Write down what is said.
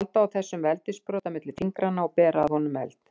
Halda á þessum veldissprota milli fingranna og bera að honum eld.